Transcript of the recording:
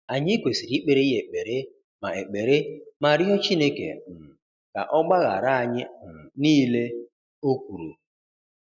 Anyị kwesiri ikpere ya ekpere, ma ekpere, ma rịọ Chineke um ka ọ gbaghara anyị um niile, o kwuru.